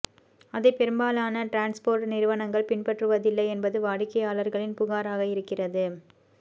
அதை பெரும்பாலான டிரான்ஸ்ஃபோர்ட் நிறுவனங்கள் பின்பற்றுவதில்லை என்பது வாடிக்கையாளர்களின் புகாராக இருக்கிறது